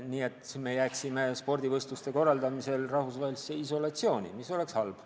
Nii et siis me jääksime spordivõistluste korraldamisel rahvusvahelisse isolatsiooni, mis oleks halb.